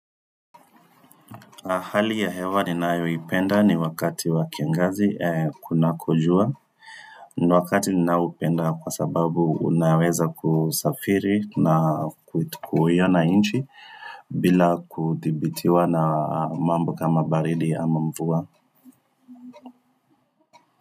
Hali ya hewa ninayoipenda ni wakati wa kiangazi kunakojua. Ni wakati ninaopenda kwa sababu unaweza kusafiri na kuiona nchi bila kudhibitiwa na mambo kama baridi ama mvua.